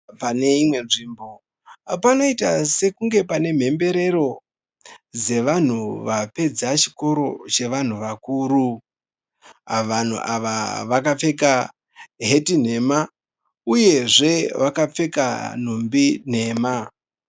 Pane imwe nzvimbo, panoita sekunge pane mhemberero dzevanhu vapedza chikoro chevanhu vakuru. Vanhu ava vakapfeka heti nhema uyezve vakapfeka nhumbi nhema.